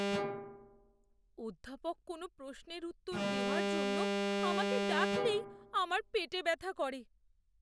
অধ্যাপক কোনো প্রশ্নের উত্তর দেওয়ার জন্য আমাকে ডাকলেই আমার পেটে ব্যথা করে।